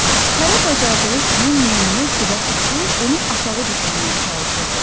Hərə bacardığı kimi meymunu dilə tutur, onu aşağı düşürməyə çalışırdı.